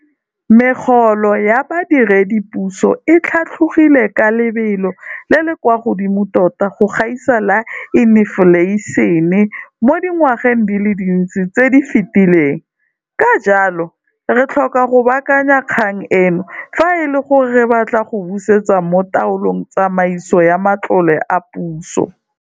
Megolo ya badiredipuso e tlhatlogile ka lebelo le le kwa godimo tota go gaisa la infleišene mo dingwageng di le dintsi tse di fetileng, ka jalo, re tlhoka go baakanya kgang eno fa e le gore re batla go busetsa mo taolong tsamaiso ya matlole a puso.